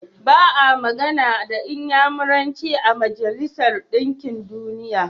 Ba a magana da Inyamuranci a Majalisar Ɗinkin Duniya.